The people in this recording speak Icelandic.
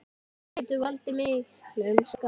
Hún getur valdið miklum skaða.